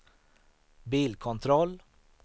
bilkontroll